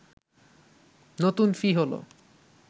নতুন ফি হলো